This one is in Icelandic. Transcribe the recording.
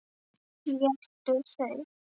Éta þau?